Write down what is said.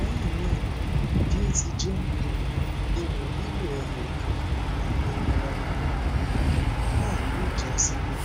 lẹ́yìn náà um bi o ti jẹ um iwọn lilo eyokan awo ara inu um naa yoo ja sile